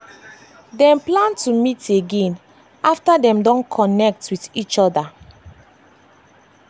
dem plan to meet again after dem don connect don connect with each other